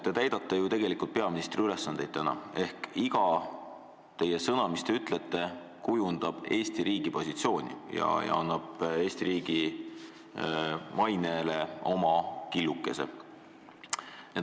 Te täidate ju täna tegelikult peaministri ülesandeid ehk iga sõna, mis te ütlete, kujundab Eesti riigi positsiooni ja lisab Eesti riigi mainele oma killukese.